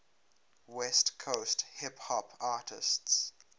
west coast hip hop artists